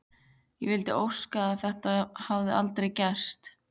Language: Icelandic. Ég vildi óska að þetta hefði aldrei gerst.